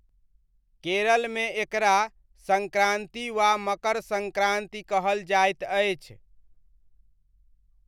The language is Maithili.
केरलमे एकरा सङ्क्रान्ति वा मकर सङ्क्रान्ति कहल जाइत अछि।